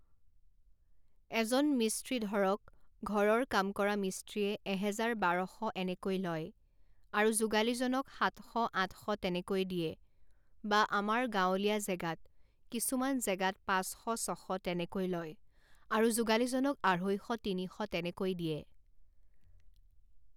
এজন মিস্ত্ৰী ধৰক ঘৰৰ কাম কৰা মিস্ত্ৰীয়ে এহেজাৰ বাৰশ এনেকৈ লয়, আৰু যোগালিজনক সাতশ আঠশ তেনেকৈ দিয়ে, বা আমাৰ গাঁৱলীয়া জেগাত কিছুমান জেগাত পাঁচশ ছশ তেনেকৈ লয় আৰু যোগালিজনক আঢ়ৈশ তিনিশ তেনেকৈ দিয়ে